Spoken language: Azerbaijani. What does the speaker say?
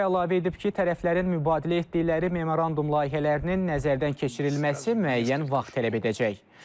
O əlavə edib ki, tərəflərin mübadilə etdikləri memorandum layihələrinin nəzərdən keçirilməsi müəyyən vaxt tələb edəcək.